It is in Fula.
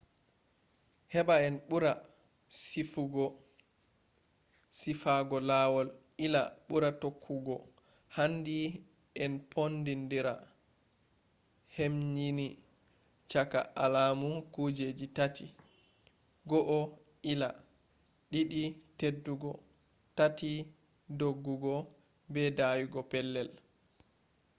heba en bura sifago lawol ila buri tokkugo handi en ponndindira hemnyini caka alamu kujejji tati: 1 ila 2 teddugo 3 doggugo be dayugo pellel